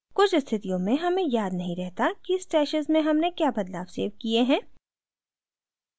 कुछ स्थितियों में हमें याद नहीं रहता कि stashes में हमने क्या बदलाव सेव किए हैं